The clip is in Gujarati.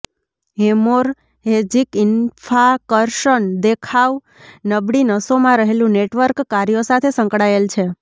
હેમોરહેજિક ઇન્ફાર્ક્શન દેખાવ નબળી નસોમાં રહેલું નેટવર્ક કાર્યો સાથે સંકળાયેલ છે